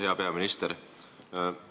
Hea peaminister!